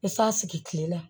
I san sigi kile la